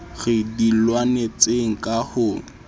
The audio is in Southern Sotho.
re di lwanetseng ka ho